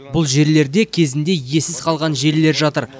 бұл жерлерде кезінде иесіз қалған желілер жатыр